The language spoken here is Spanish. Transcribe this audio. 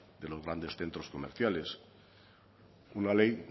de los grandes centros comerciales una ley